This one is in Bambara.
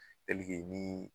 ni